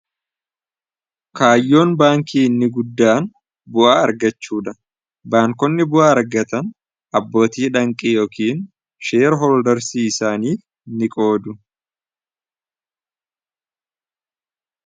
kaayyoon baankii ni guddaan bu'aa argachuudha baankonni bu'a argatan abbootii dhanqii yookiin sheer hooldarsii isaaniif ni qoodu